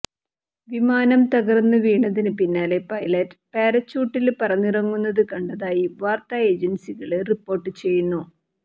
വിമാനം തകര്ന്ന് വീണതിന് പിന്നാലെ പൈലറ്റ് പാരച്യൂട്ടില് പറന്നിറങ്ങുന്നത് കണ്ടതായി വാര്ത്താ ഏജന്സികള് റിപ്പോര്ട്ട് ചെയ്യുന്നു